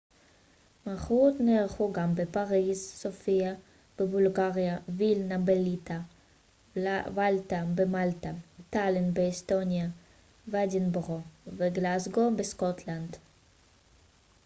מחאות נערכו גם בפריז סופיה בבולגריה וילנה בליטא ולטה במלטה טאלין באסטוניה ואדינבורו וגלזגו בסקוטלנד